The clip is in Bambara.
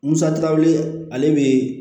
Musa tilaw ye ale bɛ